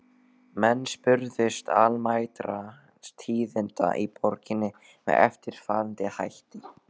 Menn spurðust almæltra tíðinda í borginni með eftirfarandi hætti